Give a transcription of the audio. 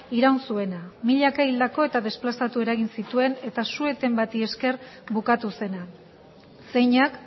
iraun zuena milaka hildako eta desplazatu eragin zituen eta su eten bati esker bukatu zena zeinak